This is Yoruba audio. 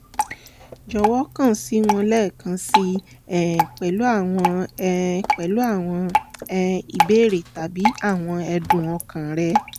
jọwọ kan si wa lẹẹkan sii um pẹlu awọn um pẹlu awọn um ibeere tabi awọn ẹ̀dùn ọkàn rẹ